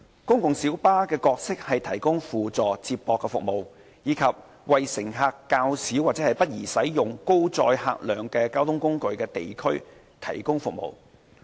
公共小巴的角色是提供輔助接駁服務，以及為乘客較少或不宜使用高載客量交通工具的地區提供服務。